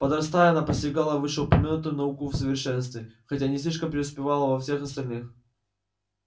подрастая она постигала вышеупомянутую науку в совершенстве хотя и не слишком преуспевала во всех остальных